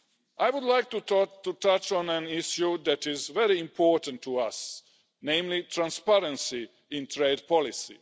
I would like to touch on an issue that is very important to us, namely, transparency in trade policy.